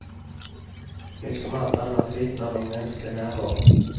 Liksom allt annat vittnar de om mänsklig närvaro.